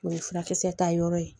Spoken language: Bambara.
O ye furakisɛ ta yɔrɔ ye